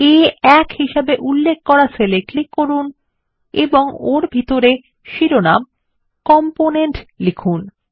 এখনই আ1 হিসেবে উল্লেখ করা সেল ক্লিক করুন এবং ওর ভিতরে শিরোনাম কম্পোনেন্ট লিখুন